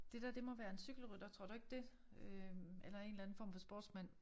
Det dér det må være en cykelrytter tror du ikke det? Øh eller en eller anden form for sportsmand